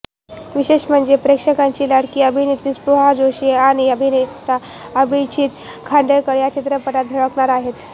विशेष म्हणजे प्रेक्षकांची लाडकी अभिनेत्री स्पृहा जोशी आणि अभिनेता अभिजीत खांडकेकर या चित्रपटात झळकणार आहेत